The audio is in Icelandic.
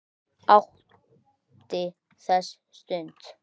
Hún átti þessa stund.